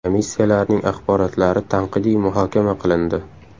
Komissiyalarning axborotlari tanqidiy muhokama qilindi.